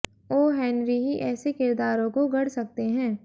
ओ Henry ही ऐसे किरदारों को गढ़ सकते हैं